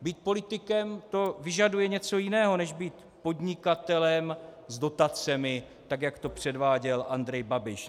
Být politikem, to vyžaduje něco jiného než být podnikatelem s dotacemi, tak jak to předváděl Andrej Babiš.